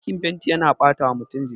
Aikin fenti yana batawa mutum jiki